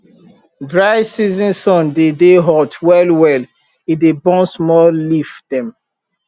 dry season sun dey dey hot well well e dey burn small leaf dem